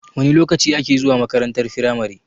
Wana lokaci ake zuwa makarantar firamare?